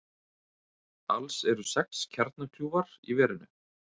Alls eru sex kjarnakljúfar í verinu